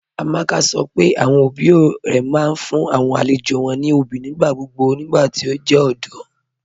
Amaka sọ́ pé awọn ọbí rẹ̀ máa n fún awọn alẹ̀jọ́ wọn ní ọbí nigbàgbogbo nigbàtí o jẹ ọdọ.